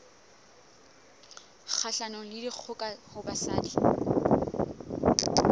kgahlanong le dikgoka ho basadi